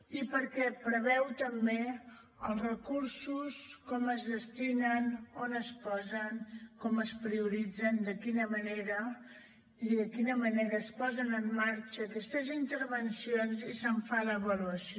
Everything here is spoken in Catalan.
i perquè preveu també els recursos com es destinen on es posen com es prioritzen de quina manera i de quina manera es posen en marxa aquestes intervencions i se’n fa l’avaluació